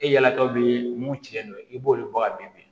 E yala tɔw bɛ mun ci ne ma i b'olu bɔ ka bin